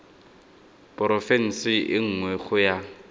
porofense e nngwe go ya